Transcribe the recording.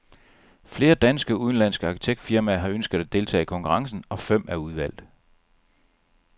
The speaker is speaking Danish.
Flere danske og udenlandske arkitektfirmaer har ønsket at deltage i konkurrencen, og fem er udvalgt.